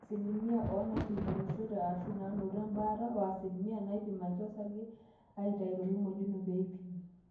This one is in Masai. asilimia oonaaikilikwanishote aashu naanoto embaata o asilimia naaipimaki osarge aaitau torkimojino pee eipimi